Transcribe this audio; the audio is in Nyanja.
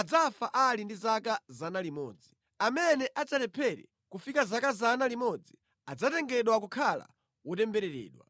adzafa ali ndi zaka 100. Amene adzalephere kufika zaka 100 adzatengedwa kukhala wotembereredwa.